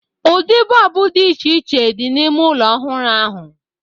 Ụdị bọlbụ dị iche iche dị n’ime ụlọ ọhụrụ ahụ.